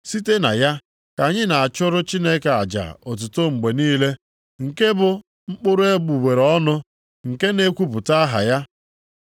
Site na ya, ka anyị na-achụrụ Chineke aja otuto mgbe niile, nke bụ mkpụrụ egbugbere ọnụ nke na-ekwupụta aha ya.